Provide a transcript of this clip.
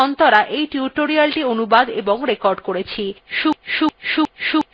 আমি অন্তরা এই টিউটোরিয়ালthe অনুবাদ এবং রেকর্ড করেছি